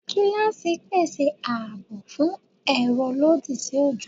Gilaasi pese aabo fun ero lodi si ojo